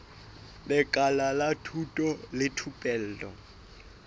lekala la thuto le thupelo